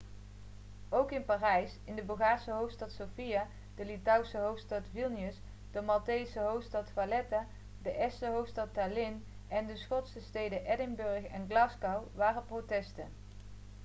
ook in parijs in de bulgaarse hoofdstad sofia de litouwse hoofdstad vilnius de maltese hoofdstad valetta de estse hoofdstad tallinn en de schotse steden edinburgh en glasgow waren protesten